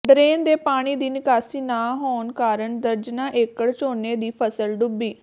drain ਦੇ ਪਾਣੀ ਦੀ ਨਿਕਾਸੀ ਨਾ ਹੋਣ ਕਾਰਨ ਦਰਜਨਾਂ ਏਕੜ ਝੋਨੇ ਦੀ ਫ਼ਸਲ ਡੁੱਬੀ